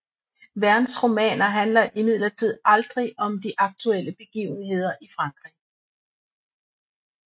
Vernes romaner handler imidlertid aldrig om de aktuelle begivenheder i Frankrig